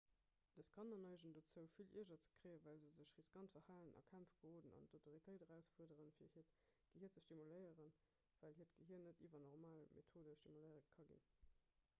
dës kanner neigen dozou vill ierger ze kréien well se sech riskant verhalen a kämpf geroden an d'autoritéit erausfuerderen fir hiert gehier ze stimuléieren well hiert gehier net iwwer normal methode stimuléiert ka ginn